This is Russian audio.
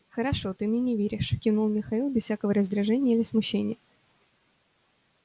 хорошо ты мне не веришь кивнул михаил без всякого раздражения или смущения